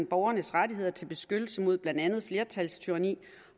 borgernes rettigheder til beskyttelse mod blandt andet flertalstyranni